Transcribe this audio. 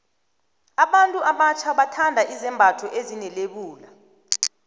abantu abatjha bathanda izembatho ezine lebula